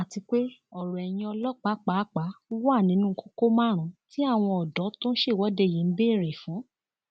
àti pé ọrọ ẹyìn ọlọpàá pàápàá wà nínú kókó márùnún tí àwọn ọdọ tó ṣèwọde yìí ń béèrè fún